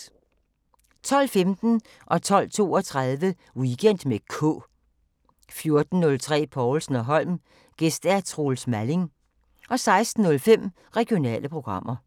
12:15: Weekend med K 12:32: Weekend med K 14:03: Povlsen & Holm: Gæst Troels Malling 16:05: Regionale programmer